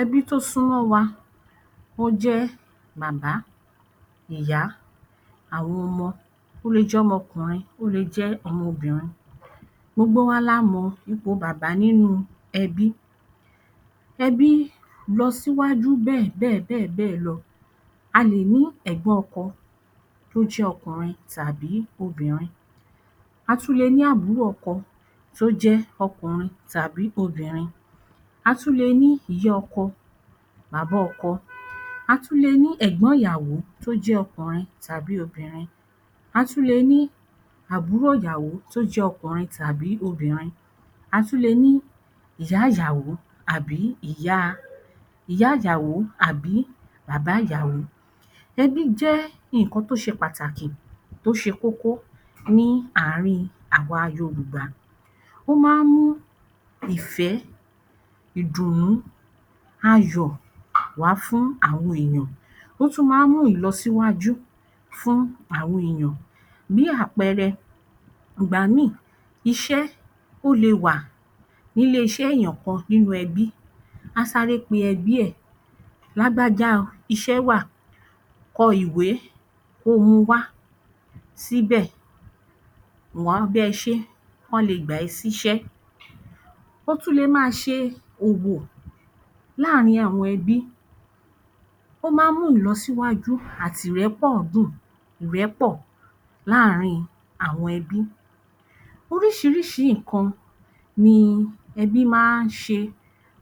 Ẹbí tó súnmọ́ wa ó jẹ́ bàbá, ìyá, àwọn ọmọ. Ó lè jẹ́ ọmọ ọkùnrin, ó lè jẹ́ ọmọ obìnrin. Gbogbo wa la mọ ipò bàbá nínú ẹbí. Ebí lọsíwájú bẹ́ẹ̀ bẹ́ẹ̀ bẹ́ẹ̀ bẹ́ẹ̀ lọ. A lè ní ẹ̀gbọ́n ọkọ tí ó jẹ́ ọkùnrin tàbí obìnrin. A tún lè ní àbúrò ọkọ tó jẹ́ ọkùnrin tàbí obìnrin, a tún lè ní ìyá ọkọ tàbí ọkọ. A tún lè ní ẹ̀gbọ̀n ìyàwó tó jẹ́ ọkùnrin tàbí obìnrin. A tún lè ní àbúrò ìyàwó tó jẹ́ ọkùnrin tàbí obìnrin. A tún lè ní ìyá ìyàwó àbí ìyaa ìyá ìyàwó àbí bàbá ìyàwó. Ẹbí jẹ́ nǹkan tó ṣe pàtàkì tó ṣe kókó ní àárín àwa Yorùbá. Ó máa ń mú ìfẹ́, ìdùnú, ayọ̀ wàá fún àwọn èèyàn. Ó tún máa ń mú ìlọsíwájú fún àwọn èèyàn. Bí àpẹẹrẹ, ìgbàmíì iṣẹ́ ó le wà ní ilé-iṣẹ́ èèyàn kan nínú ẹbí, á sáré pe ẹbí ẹ̀, lágbájá o iṣẹ́ wà, kọ ìwé kóo mu wá síbẹ̀ òun á bá ẹ ṣeé k’ọ́n lè gbà ẹ́ síṣẹ́. Ó tún lè máa ṣe òwò láàárín àwọn ẹbí. Ó máa ń mú ìlọsíwájú àti ìrẹ́pọ̀ dún-ùn ìrẹ́pọ̀ láàárín àwọn ẹbi. Oríṣiríṣi nǹkan ni ẹbí máa ń ṣe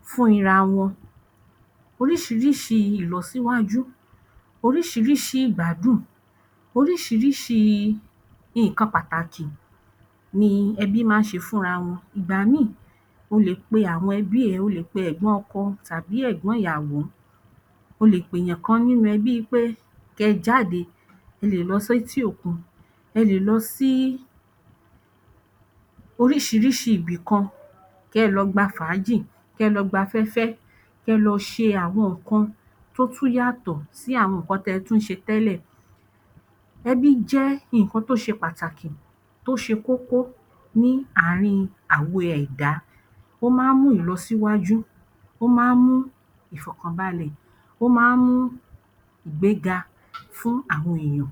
fún ira wọn. Oríṣiríṣi ìlọsíwájú, oríṣiríṣi ìgbádùn, oríṣiríṣi nǹkan pàtàkì ni ẹbí máa ń ṣe fúnra wọn. Ìgbàmíì o lè pe àwoṇ ẹbí ẹ, o lè pe ẹ̀gbọ́n ọkọ tàbí ẹ̀gbọ́n ìyàwó, o lè pèyàn kan nínú ẹbí pé kẹ́ẹ jáde. Ẹ lè lọ sétí òkun, ẹ lè lọ sí oríṣiríṣi ibìkan, kẹ́ẹ lọ gba fàájì, kẹ́ẹ lọ gbafẹ́fẹ́, kẹ́ẹ lọ ṣe àwọn nǹkan tó tún yàtọ̀ sí àwọn nǹkan tí ẹ tún ṣe tẹ́lẹ̀. Ẹbí jẹ́ nǹkan tó ṣe pàtàkì, tó ṣe kókó ní àárín àwọn ẹ̀dá. Ó máa ń mú ìlọsíwájú, ó máa ń mú ìfọ̀kànbalẹ̀, ó máa ń mú ìgbéga fún àwọn èèyàn.